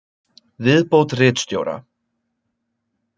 Viðbót ritstjóra: